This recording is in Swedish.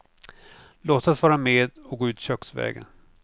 Låtsas vara med och gå ut köksvägen.